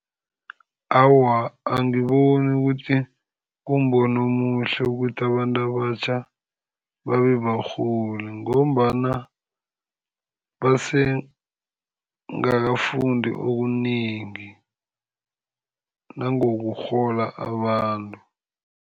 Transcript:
Awa, angiboni ukuthi kumbono omuhle ukuthi abantu abatjha babebarholi, ngombana basebangakafundi okunengi nangokurhola abantu.